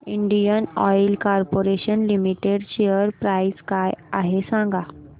Indian Oil Corporation Limited share price काय आहे सांगा